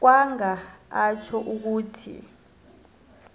kwanga atjho ukuthi